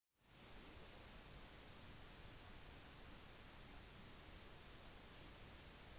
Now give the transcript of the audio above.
både golf og rugby skal etter planen komme tilbake til ol